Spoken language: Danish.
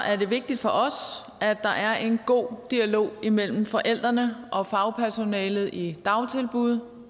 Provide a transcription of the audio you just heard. er det vigtigt for os at der er en god dialog imellem forældrene og fagpersonalet i dagtilbud